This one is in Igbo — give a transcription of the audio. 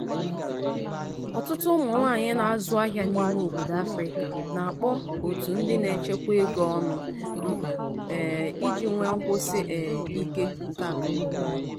ọtụtụ ụmụ nwaanyị na-azụ ahịa n’ime obodo afrika na-akpọ otu ndi na-echekwa ego ọnụ mkpa um iji nwee nkwụsi um ike nke akụnaụba.